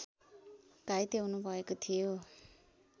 घाइते हुनु भएको थियो